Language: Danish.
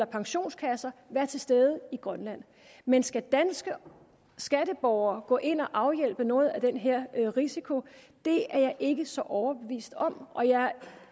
pensionskasser vær til stede i grønland men skal danske skatteborgere gå ind og afhjælpe noget af den her risiko det er jeg ikke så overbevist om og jeg